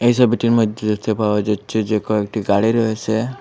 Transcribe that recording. এই সবিটির মইদ্যে দেখতে পাওয়া যাচ্ছে যে কয়েকটি গাড়ি রয়েসে।